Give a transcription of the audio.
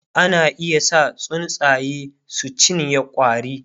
ana iya sa tsuntsaye su cinye ƙwari